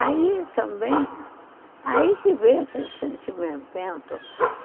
Aí também, aí que vem aquele sentimento.